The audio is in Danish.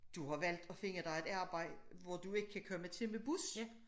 Du har valgt at finde dig et arbejde hvor du ikke kan komme til med bus